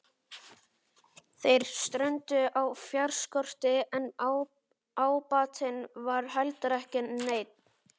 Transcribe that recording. Þeir strönduðu á fjárskorti en ábatinn var heldur ekki neinn.